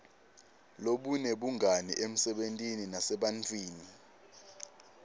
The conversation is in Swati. lobunebungani emsebentini nasebantfwini